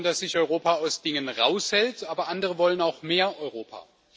Einige wollen, dass sich Europa aus Dingen heraushält, aber andere wollen auch mehr Europa.